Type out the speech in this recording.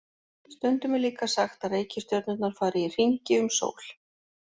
Stundum er líka sagt að reikistjörnurnar fari í hringi um sól.